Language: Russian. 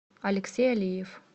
алексей алиев